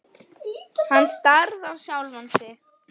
Hann starði á sjálfan sig.